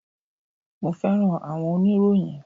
mo fẹràn awọn oniroyin